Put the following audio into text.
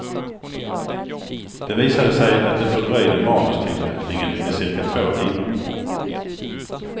Det visade sig att det fördröjde manustillverkningen med ca två timmar.